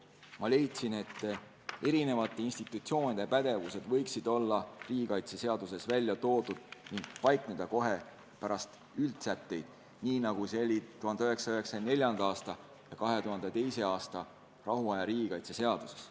Ma leidsin, et eri institutsioonide pädevused võiksid olla riigikaitseseaduses välja toodud ning paikneda kohe pärast üldsätteid, nii nagu see oli 1994. aasta ja 2002. aasta rahuaja riigikaitse seaduses.